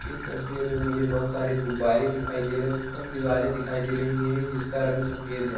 इस तस्वीर में मुझे बहुत सारे गुब्बारे दिखाई दे रहे है तथा दीवारे दिखाई दे रही है जिसका रंग सफ़ेद है।